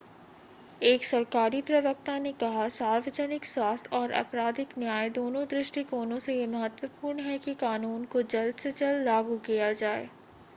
एक सरकारी प्रवक्ता ने कहा सार्वजनिक स्वास्थ्य और आपराधिक न्याय दोनों दृष्टिकोणों से यह महत्वपूर्ण है कि कानून को जल्द से जल्द लागू किया जाए